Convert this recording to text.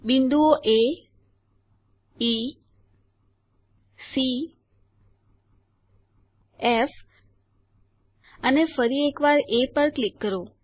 બિંદુઓ A E C F અને ફરી એક વાર એ પર ક્લિક કરો